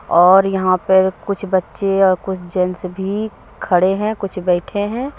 और यहां पे कुछ बच्चे और कुछ जेंट्स भी खड़े हैं कुछ बैठे हैं।